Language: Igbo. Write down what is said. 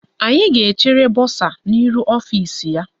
Anyị ga-echere bọsa n' ihu ọfisi ya.